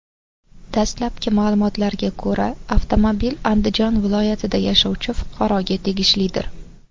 Dastlabki ma’lumotlarga ko‘ra, avtomobil Andijon viloyatida yashovchi fuqaroga tegishlidir.